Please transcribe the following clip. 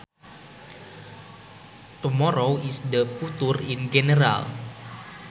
Tomorrow is the future in general